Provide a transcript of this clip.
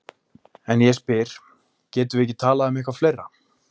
En ég spyr: Getum við ekki talað um eitthvað fleira?